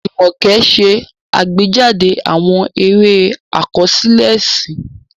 Jumoke ṣe àgbéjáde àwọn eré àkọsílẹ̀ ẹ̀sìn.